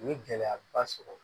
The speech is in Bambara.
U ye gɛlɛyaba sɔrɔ